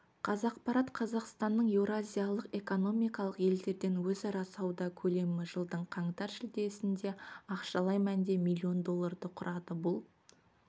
қазақпарат қазақстанның еуразиялық экономикалық елдермен өзара сауда көлемі жылдың қаңтар-шілдесінде ақшалай мәнде миллион долларды құрады бұл